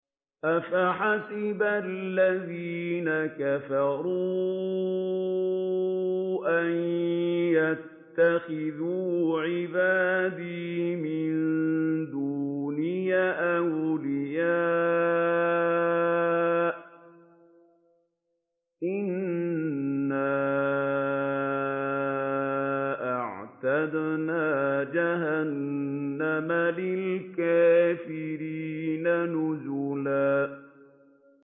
أَفَحَسِبَ الَّذِينَ كَفَرُوا أَن يَتَّخِذُوا عِبَادِي مِن دُونِي أَوْلِيَاءَ ۚ إِنَّا أَعْتَدْنَا جَهَنَّمَ لِلْكَافِرِينَ نُزُلًا